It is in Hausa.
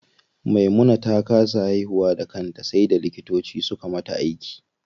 Maimuna ta kasa haihuwa da kanta sai da likitoci suka mata aiki.